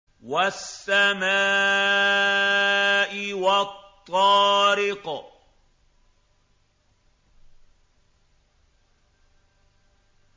وَالسَّمَاءِ وَالطَّارِقِ